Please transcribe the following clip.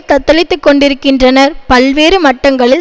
தத்தளித்து கொண்டிருக்கின்றனர் பல்வேறு மட்டங்களில்